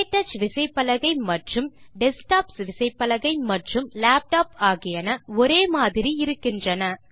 க்டச் விசைப்பலகை மற்றும் டெஸ்க்டாப்ஸ் விசைப்பலகை மற்றும் லேப்டாப் ஆகியன ஒரே மாதிரி இருக்கின்றன